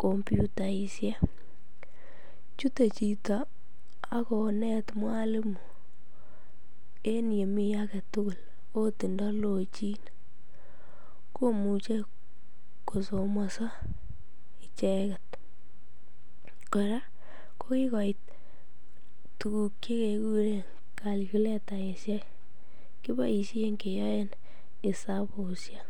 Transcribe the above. kompyutaishek, chute chito ak konet mwalimu en yemii aketukul oot indolochin komuche kosomoso icheket, kora ko kikoit tukuk chekekuren calculetaishek, kiboishen keyoen esabushek.